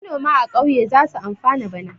Manoma a ƙauye za su amfana bana.